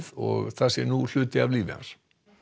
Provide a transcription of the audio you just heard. og það sé nú hluti af lífi hans